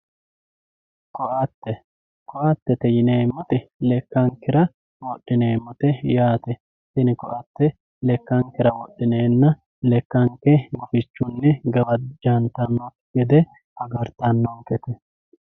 koatte koattete yineemmoti lekkankera wodhineemmote yaate tini koatte lekkankera wodhineenna lekkanke gufichunni gawajjantannokki gede agartannonkete.